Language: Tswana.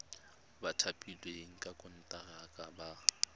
ba thapilweng ka konteraka ba